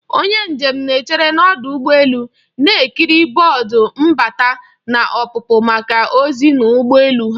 Onye njem na-echere n'ọdụ ụgbọ elu, na-ekiri bọọdụ mbata na ọpụpụ maka ozi n'ụgbọ elu ha